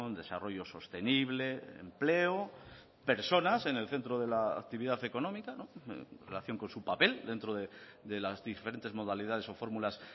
desarrollo sostenible empleo personas en el centro de la actividad económica en relación con su papel dentro de las diferentes modalidades o fórmulas